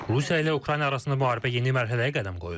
Rusiya ilə Ukrayna arasında müharibə yeni mərhələyə qədəm qoyur.